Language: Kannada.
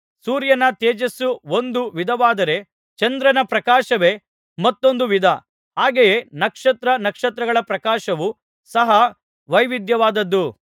ಸೂರ್ಯನ ತೇಜಸ್ಸು ಒಂದು ವಿಧವಾದರೆ ಚಂದ್ರನ ಪ್ರಕಾಶವೇ ಮತ್ತೊಂದು ವಿಧ ಹಾಗೆಯೇ ನಕ್ಷತ್ರ ನಕ್ಷತ್ರಗಳ ಪ್ರಕಾಶವು ಸಹ ವೈವಿಧ್ಯವಾದುದು